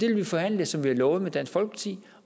vi vil forhandle som vi har lovet med dansk folkeparti